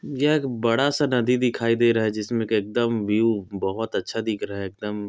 यह एक बड़ा-सा नदी दिखाई दे रहा है जिसमें का एकदम व्यू बहोत अच्छा दिख रहा है एकदम--